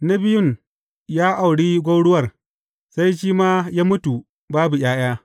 Na biyun ya auri gwauruwar, sai shi ma ya mutu, babu ’ya’ya.